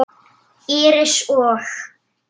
Íris og